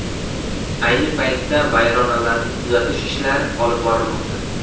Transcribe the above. Ayni paytda vayronalarni tuzatish ishlari olib borilmoqda.